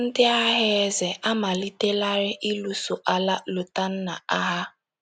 Ndị agha eze amalitelarị ịlụso ala Lotanna agha.